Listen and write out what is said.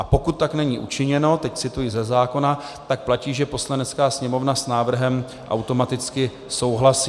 A pokud tak není učiněno - teď cituji ze zákona - tak platí, že Poslanecká sněmovna s návrhem automaticky souhlasí.